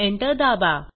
Enter दाबा